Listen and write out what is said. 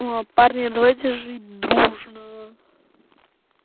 ну а парни давайте жить дружно